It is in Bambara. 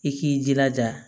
I k'i jilaja